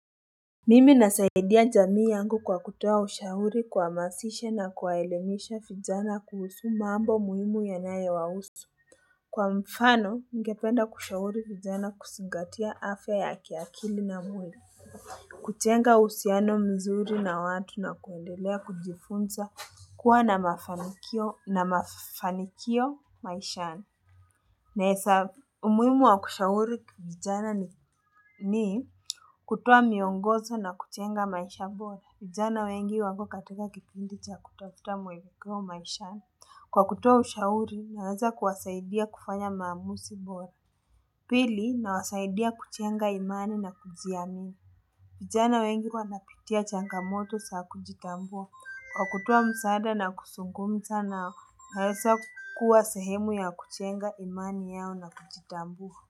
Mimi ninasaidia jamii yangu kwa kutoa ushuri kwa mazishi na kuwaelimisha vijana kuhusu mambo muhimu yanayo wahusu. Kwa mfano, ningependa kushahuri vijana kuzingatia afya ya kiakili na mwili. Kujenga uhusiano mzuri na watu na kuendelea kujifunza kuwa na mafanikio na mafanikio maishani. Nahesa umuhimu wa kushauri kijana ni kutoa miongozo na kujenga maisha bora. Vijana wengi wako katika Kwa kutoa ushauri, naweza kuwasaidia kufanya maamuzi bora. Pili, nawasaidia kujenga imani na kujiamini. Vijana wengi wanapitia changamoto za kujitambua. Kwa kutoa msaada na kuzungumza nao, naeza kukua sehemu ya kujenga imani yao na kujitambua.